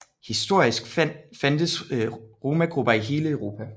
Historisk fandtes romagrupper i hele Europa